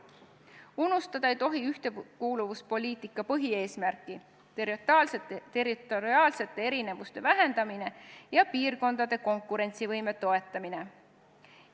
Unustada ei tohi ühtekuuluvuspoliitika põhieesmärki: territoriaalsete erinevuste vähendamine ja piirkondade konkurentsivõime toetamine.